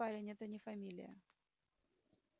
нет парень это не фамилия